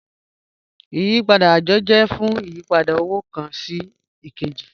Ìyìpadà ajọ jẹ̀ fún ìyìpadà owo kan sí èkèjì